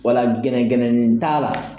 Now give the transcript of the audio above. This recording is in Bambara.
Wala gɛnɛgɛnɛni ta la.